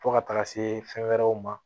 Fo ka taga se fɛn wɛrɛw ma